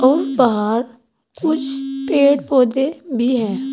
और बाहर कुछ पेड़ पौधे भी है।